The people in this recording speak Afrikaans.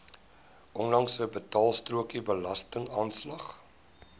onlangse betaalstrokie belastingaanslag